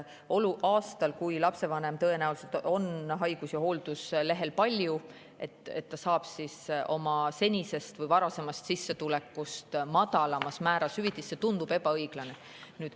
Aastal, kui lapsevanem tõenäoliselt on haigus- ja hoolduslehel palju, saab ta oma senisest või varasemast sissetulekust madalamas määras hüvitist – see tundub ebaõiglane.